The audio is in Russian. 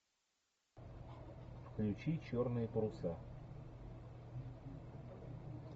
включи черные паруса